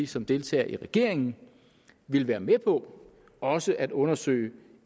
som deltager i regeringen ville være med på også at undersøge